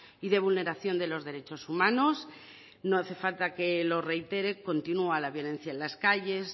y de vulneración de los derechos humanos no hace falta que lo reitere continúa la violencia en las calles